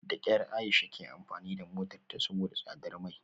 Da kyar Aisha ke amfani da motarta saboda tsadar mai